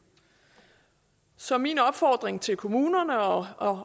så min opfordring til kommunerne og